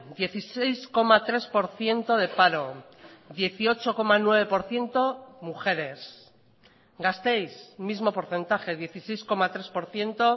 dieciséis coma tres por ciento de paro dieciocho coma nueve por ciento mujeres gasteiz mismo porcentaje dieciséis coma tres por ciento